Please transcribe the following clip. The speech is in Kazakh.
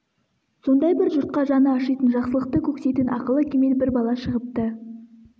сондай бір жұртқа жаны ашитын жақсылықты көксейтін ақылы кемел бір бала шығыпты